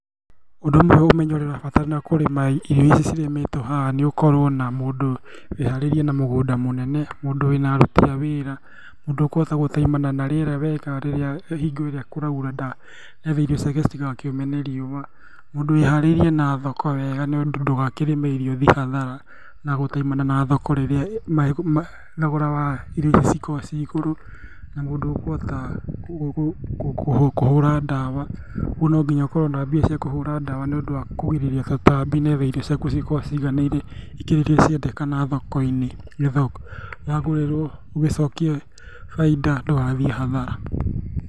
Ũndũ ũmwe ũmenyo ũrĩa ũrabatarana kũrĩma irio ici cirĩmĩtwo haha ni ũkorwo na mũndũ wĩharĩirie na mũgũnda mũnene, mũndũ wĩna aruti a wĩra, mũndũ ũkũhota gũtaimana n rĩera wega hingo ĩrĩa kũraura nĩ getha irio ciake citigakĩũme nĩ rĩua. Mũndũ wĩharĩirie na thoko wega ndũgakĩrĩme irio ũthiĩ hathara, na gũtaimana na thoko rĩrĩa thogora wa irio ici cikoragwo cirĩ igũrũ. Na mũndũ ũkũhota kũhũra ndawa. Ũguo no nginya ukorwo na mbia cia kũhũra ndawa nĩ ũndũ wa kũgirĩrĩria tũtambi nĩ getha irio ciaku cikorwo ciganĩire ikĩro ĩrĩa cirendekana thoko-inĩ nĩ getha wagũrĩrwo ugĩcokie bainda ndũgathiĩ hathara.